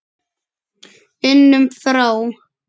unum frá.